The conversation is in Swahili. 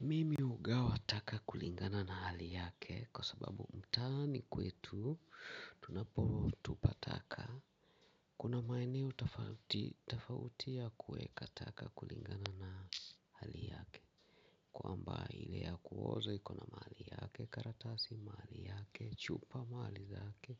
Mimi hugawa taka kulingana na hali yake kwa ssbabu mtaani kwetu tunapotupa taka. Kuna maeneo tafautia tofauti ya kuweka taka kulingana na hali yake. Kwamba ile ya kuozo iko na mahali yake, karatasi mahali yake, chupa mahali zake